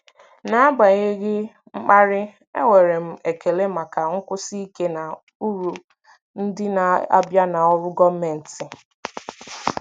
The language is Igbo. N'agbanyeghị mkparị, enwere m ekele maka nkwụsi ike na uru ndị na-abịa na ọrụ gọọmentị.